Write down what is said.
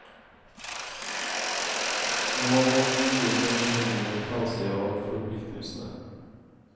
Nå må de nye generasjoner ta seg av forpliktelsene.